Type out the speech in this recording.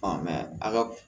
a ka